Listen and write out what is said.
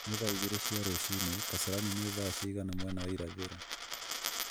ni thaa igĩrĩ cia rũcinĩ kasarani nĩ thaa cigana mwena wa irathĩro